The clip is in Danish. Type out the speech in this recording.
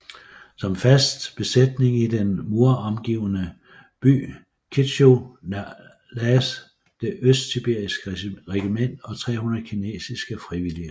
Som fast besætning i den muromgivne by Kintschou lagdes et østsibirisk regiment og 300 kinesiske frivillige